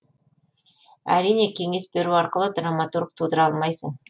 әрине кеңес беру арқылы драматург тудыра алмайсың